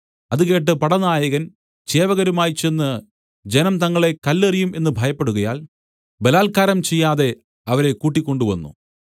അതുകേട്ട് പടനായകൻ ചേവകരുമായി ചെന്ന് ജനം തങ്ങളെ കല്ലെറിയും എന്ന് ഭയപ്പെടുകയാൽ ബലാൽക്കാരം ചെയ്യാതെ അവരെ കൂട്ടിക്കൊണ്ടുവന്നു